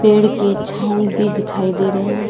पेड़ की छाव भी दिखाई दे रहे हैं।